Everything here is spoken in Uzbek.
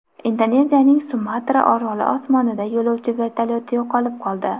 Indoneziyaning Sumatra oroli osmonida yo‘lovchi vertolyoti yo‘qolib qoldi.